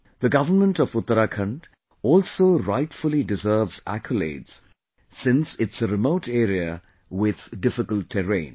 The government of Uttarakhand also rightfully deserves accolades since it's a remote area with difficult terrain